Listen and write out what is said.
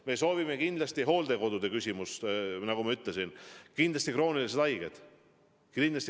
Me soovime kindlasti peale hooldekodude, nagu ma ütlesin, vaktsineerida kroonilised haiged.